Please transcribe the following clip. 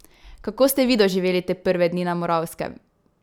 Kako ste vi doživeli te prve dni na Moravskem?